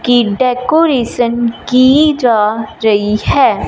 की डेकोरेशन की जा रही है।